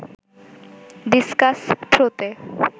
discuss থ্রোতে